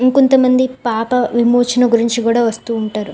ఇంకో కొనత మంది పట ఎమోషన్ గురిచే కూడా వస్త ఉనతారు.